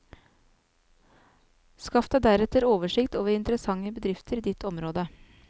Skaff deg deretter oversikt over interessante bedrifter i ditt område.